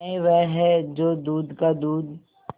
न्याय वह है जो दूध का दूध